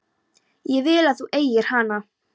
Ég vil að þú eigir hana.